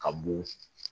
Ka b'o